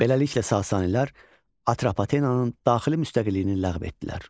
Beləliklə Sasanilər Atropatenanın daxili müstəqilliyini ləğv etdilər.